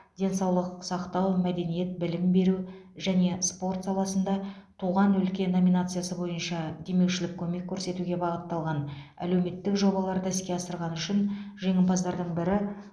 денсаулық сақтау мәдениет білім беру және спорт саласында туған өлке номинациясы бойынша демеушілік көмек көрсетуге бағытталған әлеуметтік жобаларды іске асырғаны үшін жеңімпаздардың бірі